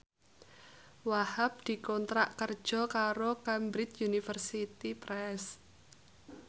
Wahhab dikontrak kerja karo Cambridge Universiy Press